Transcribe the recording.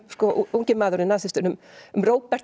ungi maðurinn nasistinn um Robert